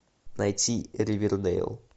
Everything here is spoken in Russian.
найти ривердейл